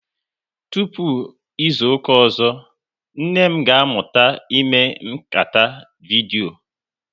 Tụpụ izuka ọzọ, nne m ga amụtago ime nkata vidyo